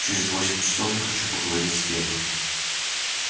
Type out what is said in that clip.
через восемь часов я хочу поговорить с теми